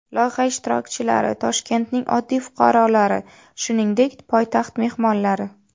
Loyiha ishtirokchilari Toshkentning oddiy fuqarolari, shuningdek, poytaxt mehmonlari.